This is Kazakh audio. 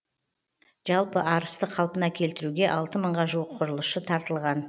жалпы арысты қалпына келтіруге алты мыңға жуық құрылысшы тартылған